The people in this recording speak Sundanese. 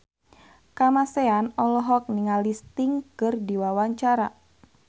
Kamasean olohok ningali Sting keur diwawancara